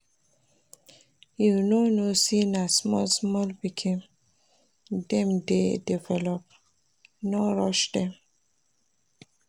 You no know sey na small-small pikin dem dey develop, no rush dem.